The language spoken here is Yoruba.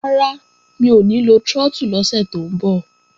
Rárá, mi ò ní lo trọ́tù lọ́sẹ̀ tó ń bọ̀